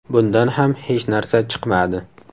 Bundan ham hech narsa chiqmadi.